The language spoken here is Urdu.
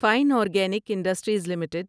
fine organic industries limited